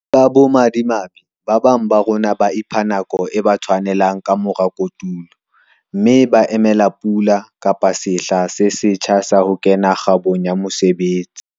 Ka bomadimabe, ba bang ba rona ba ipha nako e ba tshwanelang ka mora kotulo, mme ba emela pula, kapa sehla se setjha sa ho kena kgabong ya mosebetsi.